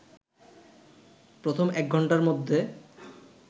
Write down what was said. প্রথম একঘন্টার মধ্যে